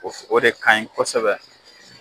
O f o de ka ɲi kɔsɛbɛ.